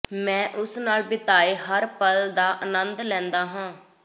ਮੈਂ ਉਸ ਨਾਲ ਬਿਤਾਏ ਹਰ ਪਲ ਦਾ ਅਨੰਦ ਲੈਂਦਾ ਹਾਂ